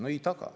No ei taga.